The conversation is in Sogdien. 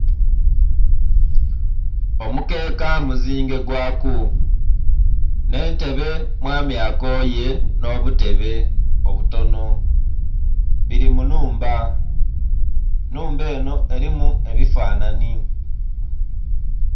Omukeeka mu zinge gwaku nhe ntebe mwami akoye nho butebe obutonho bili mu nhumba enhumba enho elimu ebifananhi.